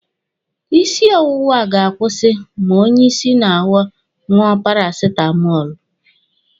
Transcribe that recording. Isi ọwụwa ga-akwụsị ma onye isi na-awọ ṅụọ parasitamọlụ